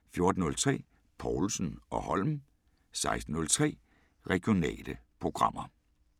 14:03: Povlsen & Holm 16:03: Regionale programmer